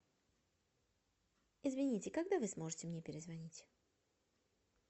извините когда вы сможете мне перезвонить